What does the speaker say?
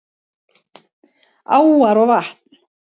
Áar og vatn